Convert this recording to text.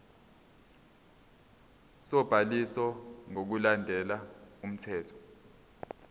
sobhaliso ngokulandela umthetho